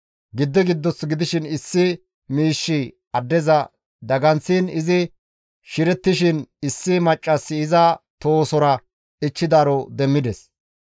Giddi giddoth gidishin issi miishshi addeza daganththiin izi shirettishin issi maccassi iza tohosora ichchidaaro demmides.